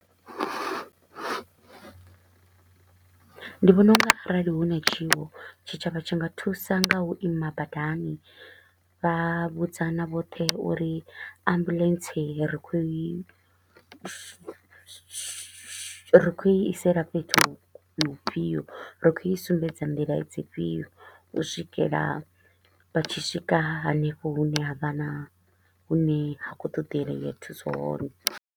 Ndi vhona u nga arali hu na tshiwo tshitshavha tshi nga thusa nga u ima badani, vha vhudzana vhoṱhe uri ambulance ri kho u i ri ri kho u isela fhethu hufhio, ri kho u i sumbedza nḓila dzifhio, u swikela vha tshi swika hanefho hune ha vha na hune ha kho u ṱoḓelea thuso hone.